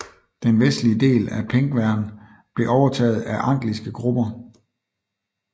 Den vestlige del af Pengwern blev overtaget af angliske grupper